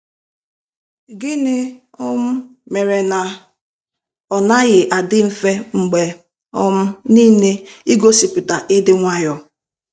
Gịnị um mere na ọ naghị adị mfe mgbe um nile igosipụta ịdị nwayọọ?